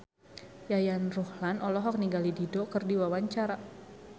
Yayan Ruhlan olohok ningali Dido keur diwawancara